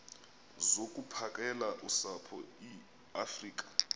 zokuphakela usapho iweafrika